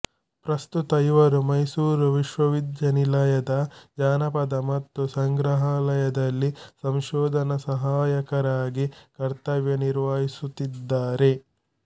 ಪ್ರಸ್ತುತ ಇವರು ಮೈಸೂರು ವಿಶ್ವ ವಿದ್ಯಾನಿಲಯದ ಜಾನಪದ ವಸ್ತು ಸಂಗ್ರಹಾಲಯದಲ್ಲಿ ಸಂಶೋಧನ ಸಹಾಯಕರಾಗಿ ಕರ್ತವ್ಯ ನಿರ್ವಹಿಸುತ್ತಿದ್ದಾರೆ